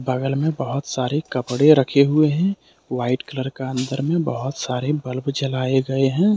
बगल में बहुत सारे कपड़े रखे हुए हैं वाइट कलर का अंदर में बहुत सारे बल्ब जलाए गए हैं ।